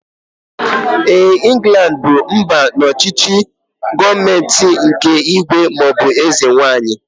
Éè, Inglandi bụ mba ọchịchị gọọmenti nke ígwè maọbụ eze nwaanyị